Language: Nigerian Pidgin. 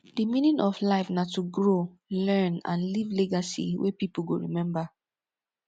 di meaning of life na to grow learn and leave legacy wey pipo go rememba